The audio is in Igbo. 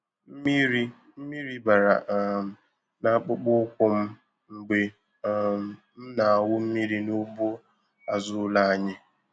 Mmiri Mmiri bara um n'akpụkpọ ụkwụ m mgbe um m na-awụ mmiri n'ugbo azụ ụlọ anyị.